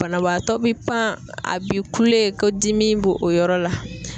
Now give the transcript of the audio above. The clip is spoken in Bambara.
Banabaatɔ be pan a bi kule ko dimi b'o o yɔrɔ la.